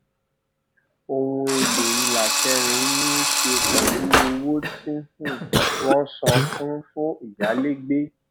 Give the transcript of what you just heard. ohun èlò ìlà kẹrin ní í ṣe pẹlú owó tí um wọn san fún fún ìyálégbé